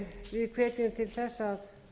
við hvetjum til þess að